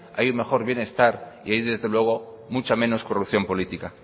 hay un mejor bienestar y hay desde luego mucha menos corrupción política